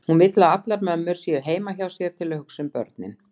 Hún vill að allar mömmur séu heima hjá sér til að hugsa um börnin.